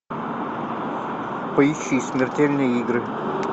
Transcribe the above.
поищи смертельные игры